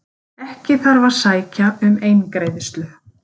Ekki þarf að sækja um eingreiðslu